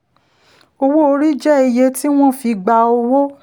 owó orí jẹ́ iye tí wọ́n fi gba owó.